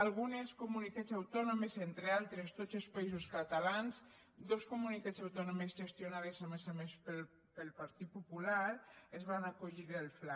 algunes comunitats autònomes entre altres tots els països catalans dos comunitats autònomes gestionades a més a més pel partit popular es van acollir al fla